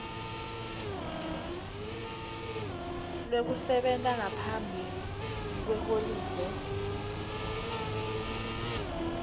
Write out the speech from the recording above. lwekusebenta ngaphambi kweholide